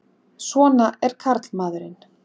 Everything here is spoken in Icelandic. Svona er karlmaðurinn!